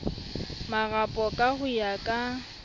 marapo ka ho ya ka